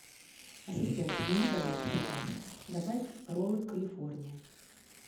ассистент измени пожалуйста заказ добавь роллы калифорния